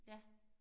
Ja